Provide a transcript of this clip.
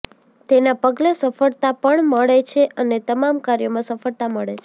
તેના પગલે સફળતા પણ મળે છે અને તમામ કાર્યોમાં સફળતા મળે છે